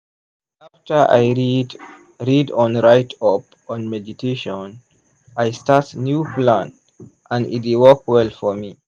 after i read read on write up on meditation i start new plan and e dey work well for me.